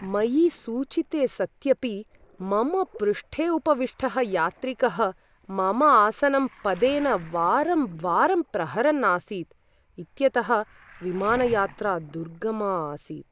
मयि सूचिते सत्यपि मम पृष्ठे उपविष्टः यात्रिकः मम आसनं पदेन वारंवारं प्रहरन् आसीत् इत्यतः विमानयात्रा दुर्गमा आसीत्।